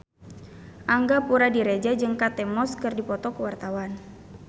Angga Puradiredja jeung Kate Moss keur dipoto ku wartawan